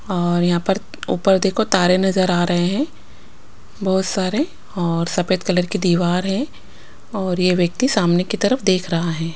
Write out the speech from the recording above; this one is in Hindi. और यहाँ पर ऊपर देखो तारे नज़र आ रहे हैं बहुत सारे और सफ़ेद कलर की दीवार है और यह व्यक्ति सामने की तरफ देख रहा है।